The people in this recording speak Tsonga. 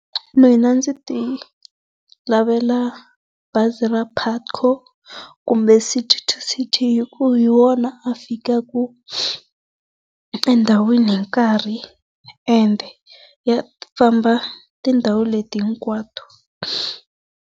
Mina ndzi ti lavela bazi Putco kumbe City to City hi ku hi wona a fikaka endhawini hi nkarhi ende ya famba tindhawu leti hinkwato.